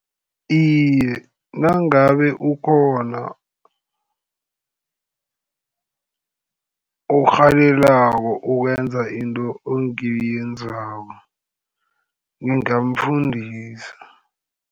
Iye, nangabe ukhona orhalelalako ukwenza into engiyenzako, ngingamfundisa.